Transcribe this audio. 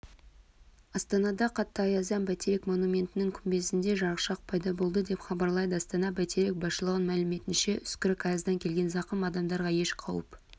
астанада қатты аяздан бәйтерек монументінің күмбезінде жарықшақ пайда болды деп хабарлайды астана-бәйтерек басшылығының мәліметінше үскірік аяздан келген зақым адамдарға еш қауіп